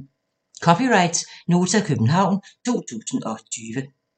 (c) Nota, København 2020